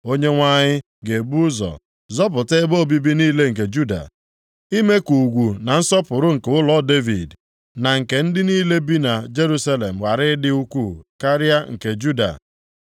“ Onyenwe anyị ga-ebu ụzọ zọpụta ebe obibi niile nke Juda, ime ka ugwu na nsọpụrụ nke ụlọ Devid, na nke ndị niile bi na Jerusalem ghara ịdị ukwuu karịa nke Juda.